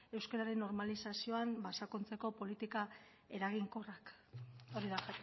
euskararen normalizazioan ba sakontzeko politika eraginkorrak hori da